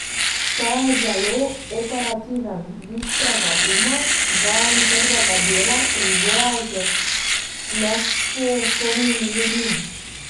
Ta je zelo operativen, bistrega uma, vajen trdega dela in boja z nesposobnimi ljudmi!